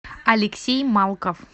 алексей малков